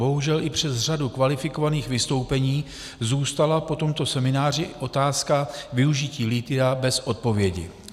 Bohužel i přes řadu kvalifikovaných vystoupení zůstala po tomto semináři otázka využití lithia bez odpovědi.